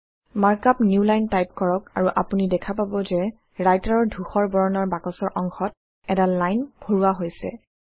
markup newline type কৰক আৰু আপুনি দেখা পাব যে Writer ৰ ধূসৰ বৰণৰ বাকচৰ অংশত এডাল লাইন ভৰোৱা হৈছে